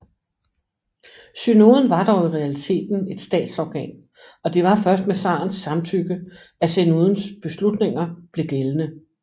Synoden var dog i realiteten et statsorgan og det var først med tsarens samtykke at synodens beslutninger blev gældende